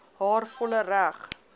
haar volle reg